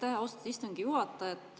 Aitäh, austatud istungi juhataja!